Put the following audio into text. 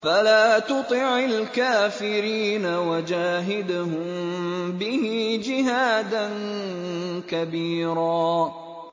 فَلَا تُطِعِ الْكَافِرِينَ وَجَاهِدْهُم بِهِ جِهَادًا كَبِيرًا